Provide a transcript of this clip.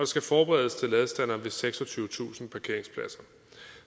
skal forberedes til ladestandere ved seksogtyvetusind parkeringspladser